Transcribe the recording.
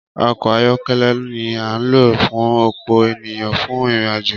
Ọkọ ayọkẹlẹ ni a n lo fún ọpọ ènìyàn fún ìrìn àjò